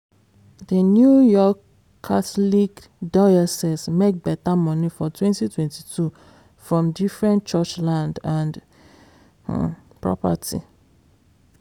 the new york catholic diocese make better money for 2022 from different church land and property.